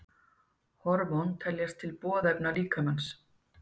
Hormón teljast til boðefna líkamans.